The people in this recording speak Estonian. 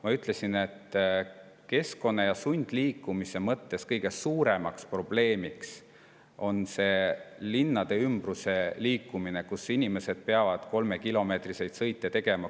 Ma ütlesin, et keskkonna ja sundliikumise mõttes kõige suurem probleem on see linnade ümbruses liikumine, kus inimesed peavad umbes 3-kilomeetriseid sõite tegema.